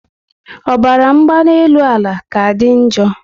Ọbara mgbanyielu ala ka dị njo